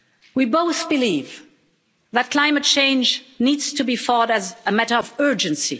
We both believe that climate change needs to be fought as a matter of urgency.